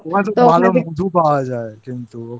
ওখানে তো ভালো মধু পাওয়া